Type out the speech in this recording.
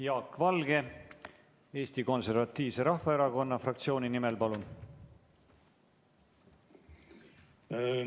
Jaak Valge Eesti Konservatiivse Rahvaerakonna fraktsiooni nimel, palun!